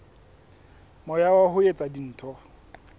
moya wa ho etsa dintho